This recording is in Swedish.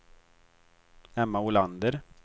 Emma Olander